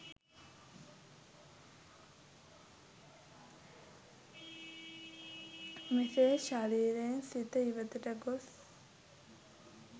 මෙසේ ශරීරයෙන් සිත ඉවතට ගොස්